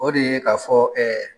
O de ye k'a fɔ